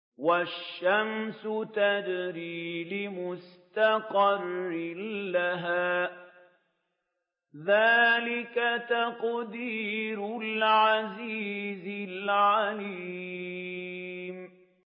وَالشَّمْسُ تَجْرِي لِمُسْتَقَرٍّ لَّهَا ۚ ذَٰلِكَ تَقْدِيرُ الْعَزِيزِ الْعَلِيمِ